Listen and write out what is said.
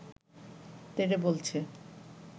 তেড়ে বলছে